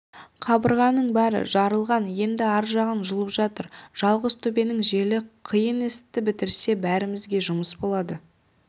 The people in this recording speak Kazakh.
қабырғаның бәрі жарылған енді ар жағын жұлып жатыр жалғызтөбенің желі қиын істі бітірсе бәрімізге жұмыс болады